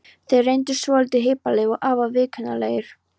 Þeir reyndust svolítið hippalegir og afar viðkunnanlegir.